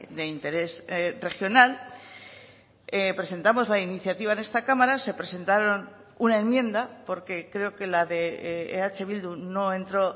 de interés regional presentamos la iniciativa en esta cámara se presentaron una enmienda porque creo que la de eh bildu no entró